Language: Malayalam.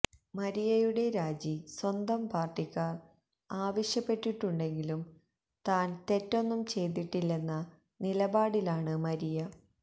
മരിയയുടെ രാജി സ്വന്തം പാര്ട്ടിക്കാര് ആവശ്യപ്പെട്ടിട്ടുണ്ടെങ്കിലും താന് തെറ്റൊന്നും ചെയ്തിട്ടില്ലെന്ന നിലപാടിലാണ് മരിയ